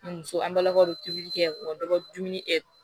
Muso an balakaw bɛ tobili kɛ dumuni